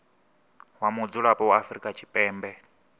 wa mudzulapo wa afrika tshipembe